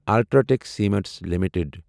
UltraTech cement limited